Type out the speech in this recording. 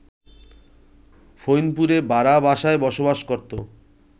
ফইনপুরে ভাড়া বাসায় বসবাস করত